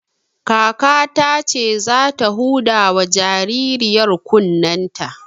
Kakata ce za ta huda wa jaririyar kunnen ta